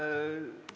Suurepärane, aitäh!